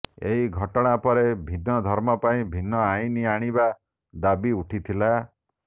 ଏହି ଘଟଣା ପରେ ଭିନ୍ନ ଧର୍ମ ପାଇଁ ଭିନ୍ନ ଆଇନ ଆଣିବା ଦାବି ଉଠିଥିଲା